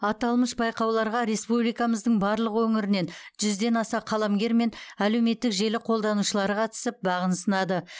аталмыш байқауларға республикамыздың барлық өңірінен жүзден аса қаламгер мен әлеуметтік желі қолданушылары қатысып бағын сынады